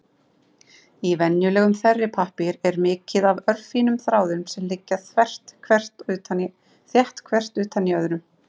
Í venjulegum þerripappír er mikið af örfínum þráðum sem liggja þétt hver utan í öðrum.